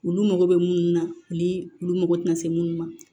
Olu mago bɛ mun na ni olu mago tɛ na se munnu ma